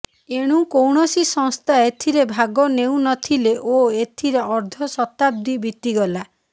ଏଣୁ କୌଣସି ସଂସ୍ଥା ଏଥିରେ ଭାଗ ନେଉନଥିଲେ ଓ ଏଥିରେ ଅର୍ଧ ଶତାଦ୍ଦୀ ବିତିଗଲା